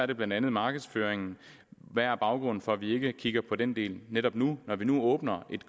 det blandt andet markedsføringen hvad er baggrunden for at vi ikke kigger på den del netop nu når vi nu åbner